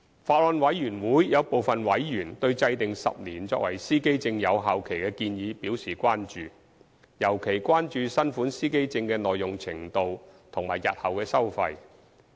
法案委員會有部分委員對制訂10年作為司機證有效期的建議表示關注，尤其關注新款司機證的耐用程度及日後的收費。